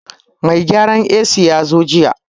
Mai gyaran AC ya zo jiya